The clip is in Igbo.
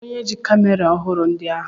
Kedụ onye ji kamera ọhụrụ ndị ahụ?